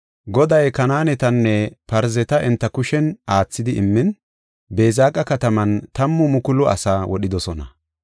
Goday Kanaanetanne Parzeta enta kushen aathidi immin, Beezeqa kataman tammu mukulu asaa wodhidosona.